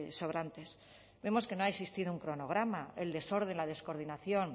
sobrantes vemos que no ha existido un cronograma el desorden la descoordinación